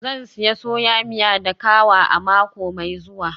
Zan sayi soya miya da kawa a mako mai zuwa.